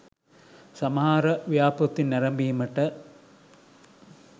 සමහර ව්‍යාපෘති නැරඹීමට